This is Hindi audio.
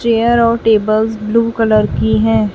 चेयर और टेबल्स ब्लू कलर की है।